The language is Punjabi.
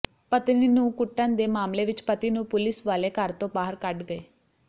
ਪਤਨੀ ਨੂੰ ਕੁੱਟਣ ਦੇ ਮਾਮਲੇ ਵਿੱਚ ਪਤੀ ਨੂੰ ਪੁਲੀਸ ਵਾਲੇ ਘਰ ਤੋਂ ਬਾਹਰ ਕੱਢ ਗਏ